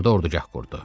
Burada ordugah qurdu.